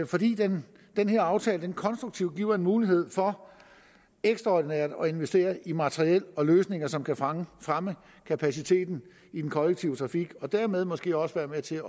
fordi den den her aftale konstruktivt giver en mulighed for ekstraordinært at investere i materiel og løsninger som kan fremme fremme kapaciteten i den kollektive trafik og dermed måske også være med til